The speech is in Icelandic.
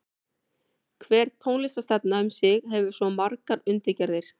Hver tónlistarstefna um sig hefur svo margar undirgerðir.